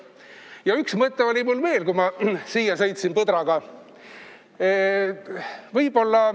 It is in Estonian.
Ja üks mõte oli mul veel, kui ma siia põdraga sõitsin.